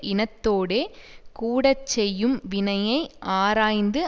இனத்தோடே கூட செய்யும் வினையை ஆராய்ந்து